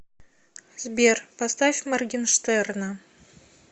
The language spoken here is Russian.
сбер поставь моргинштерна